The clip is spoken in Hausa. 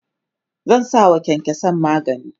zan sawa kyankyansan magani